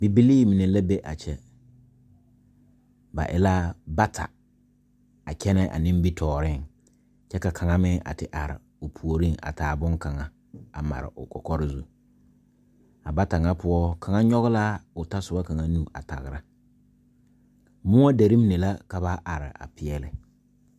Bibilii mine la be a kyɛ ba e la bata a kyɛnɛ a nimitooreŋ kyɛ ka kaŋa meŋ a te are puoriŋ a taa bonkaŋ a mare o kɔkɔre zu a bata ŋa poɔ kaŋa nyoge laa o tasobɔ kaŋa nu a tagra moɔ derre mine la ka ba are a peɛɛle.